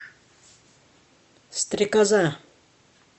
стрекоза